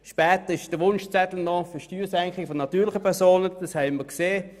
Später steht noch die Senkung der Steuern für die natürlichen Personen auf dem Wunschzettel.